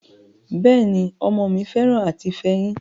Bẹ́ẹ̀ ni, ọmọ mi fẹ́ràn àti fẹyín,